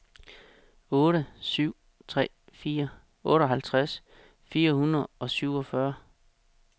otte syv tre fire otteoghalvtreds fire hundrede og syvogfyrre